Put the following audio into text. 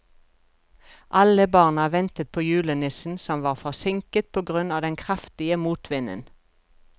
Alle barna ventet på julenissen, som var forsinket på grunn av den kraftige motvinden.